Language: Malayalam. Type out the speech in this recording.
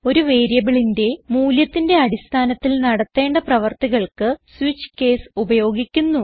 ഒരു വേരിയബിളിന്റെ മൂല്യത്തിന്റെ അടിസ്ഥാനത്തിൽ നടത്തേണ്ട പ്രവർത്തികൾക്ക് സ്വിച്ച് കേസ് ഉപയോഗിക്കുന്നു